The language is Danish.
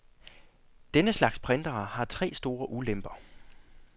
Denne slags printere har tre store ulemper.